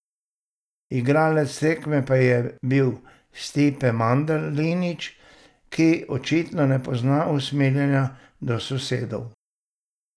Igralec tekme pa je bil Stipe Mandalinić, ki očitno ne pozna usmiljenja do sosedov.